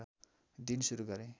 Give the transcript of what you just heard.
दिन सुरू गरे